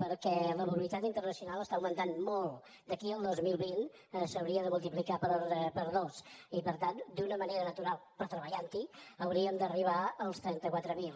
perquè la mobilitat internacional està augmentant molt d’aquí al dos mil vint s’hauria de multiplicar per dos i per tant d’una manera natural però treballanthi hauríem d’arribar als trentaquatre mil